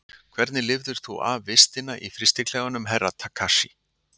Hvernig lifðir þú af vistina í frystiklefanum Herra Takashi?